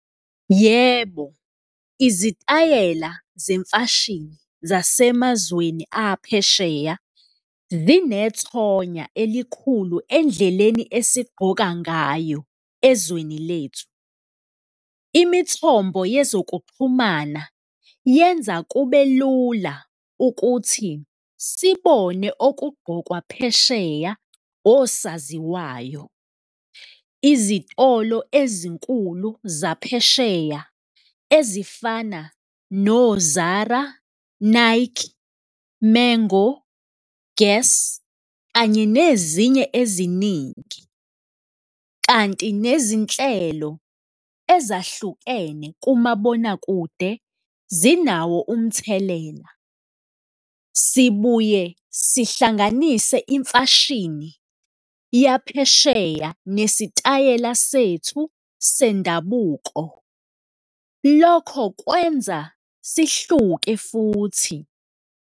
Yebo, izitayela zemfashini zasemazweni aphesheya zinethonya elikhulu endleleni esigqoka ngayo ezweni lethu. Imithombo yezokuxhumana yenza kube lula ukuthi sibone okugqokwa phesheya, osaziwayo, izitolo ezinkulu zaphesheya ezifana no-ZARA, Nike, Mango, Guess kanye nezinye eziningi, kanti nezinhlelo ezahlukene kumabonakude zinawo umthelela. Sibuye sihlanganise imfashini yaphesheya nesitayela sethu sendabuko, lokho kwenza sihluke futhi.